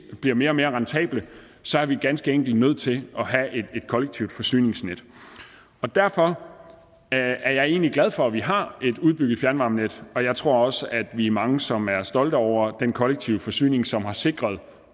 bliver mere og mere rentable så er vi ganske enkelt nødt til at have et kollektivt forsyningsnet derfor er jeg egentlig glad for at vi har et udbygget fjernvarmenet og jeg tror også at vi er mange som er stolte over den kollektive forsyning som har sikret